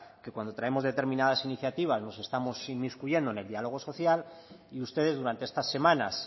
que cuando traemos determinadas iniciativas nos estamos inmiscuyendo en el diálogo social y ustedes durante estas semanas